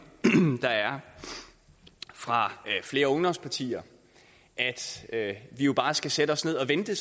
der er fra flere ungdomspartier at vi jo bare skal sætte os ned og vente